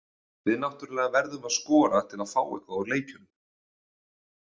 Við náttúrulega verðum að skora til að fá eitthvað út úr leikjunum.